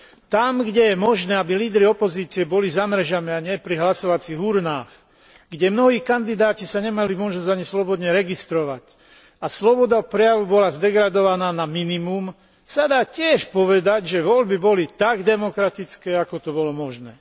Tam, kde je možné, aby lídri opozície boli za mrežami, a nie pri hlasovacích urnách, kde mnohí kandidáti nemali možnosť ani sa slobodne registrovať a sloboda prejavu bola zdegradovaná na minimum, sa dá tiež povedať, že voľby boli tak demokratické, ako to bolo možné.